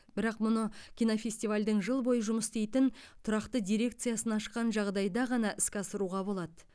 бірақ мұны кинофестивальдің жыл бойы жұмыс істейтін тұрақты дирекциясын ашқан жағдайда ғана іске асыруға болады